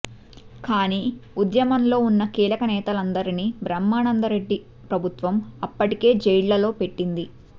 కానీ ఉద్యమంలో ఉన్న కీలక నేతలందరినీ బ్రహ్మానందరెడ్డి ప్రభుత్వం అప్పటికే జైళ్లలో పెట్టింది